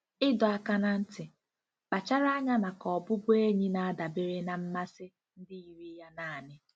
Ịdọ aka ná ntị: Kpachara anya maka ọbụbụ enyi na-adabere na mmasị ndị yiri ya naanị.